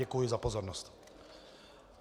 Děkuji za pozornost.